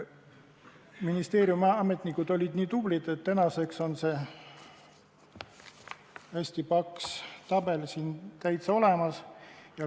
Ministeeriumi ametnikud olid nii tublid, et tänaseks on see hästi paks tabel meil täitsa olemas.